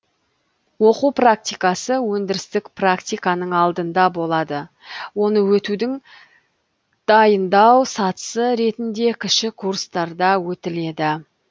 оқу практикасы өндірістік практиканың алдында болады оны өтудің дайындау сатысы ретінде кіші курстарда өтіледі